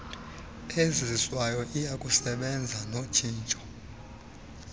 iziswayo iyakusebenza notshintsho